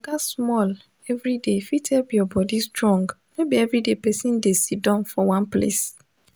to waka small every day fit help your body strong no be everyday pesin dey siddon for one place